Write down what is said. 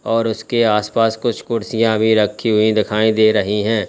और उसके आस पास कुछ कुर्सियां भी रखी हुई दिखाई दे रही है।